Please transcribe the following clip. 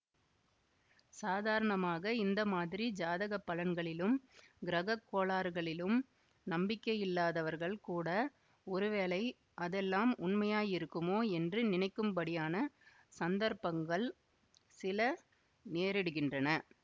சாதாரணமாக இந்த மாதிரி ஜாதக பலன்களிலும் கிரகக் கோளாறுகளிலும் நம்பிக்கையில்லாதவர்கள் கூட ஒரு வேளை அதெல்லாம் உண்மையாயிருக்குமோ என்று நினைக்கும்படியான சந்தர்ப்பங்கள் சில நேரிடுகின்றன